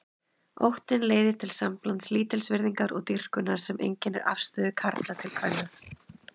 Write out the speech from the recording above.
Óttinn leiðir til samblands lítilsvirðingar og dýrkunar sem einkennir afstöðu karla til kvenna.